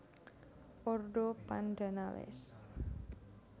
Ordo Pandanales